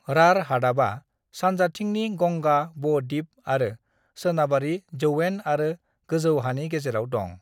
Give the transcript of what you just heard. राढ़ हादाबा सानजाथिंनि गंगा ब-दिप आरो सोनाबारि जौयेन आरो गोजौ हानि गेजेराव दं।